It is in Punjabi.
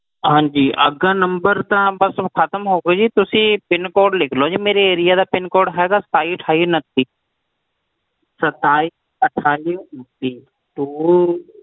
ਹਾਂਜੀ number ਤਾਂ ਖਤਮ ਹੋ ਗਿਆ ਜੀ ਤੁਸੀਂ pincode ਲਿਖ ਲੋ ਮੇਰੇ area ਦਾ pincode ਹੈਗਾ ਜੀ ਸਤਾਈ ਅਠਾਈ ਉੱਨਤੀ